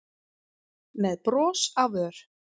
með bros á vör.